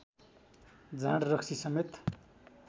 जाँड रक्सीसमेत